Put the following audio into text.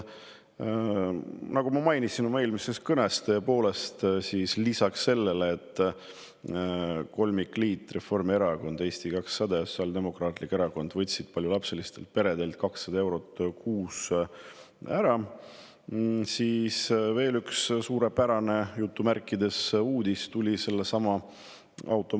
Nagu ma oma eelmises kõnes mainisin, lisaks sellele, et kolmikliit, Reformierakond, Eesti 200 ja Sotsiaaldemokraatlik Erakond, võttis paljulapselistelt peredelt ära 200 eurot kuus, tuli paljulapselistele peredele sellesama automaksu näol veel üks "suurepärane" uudis.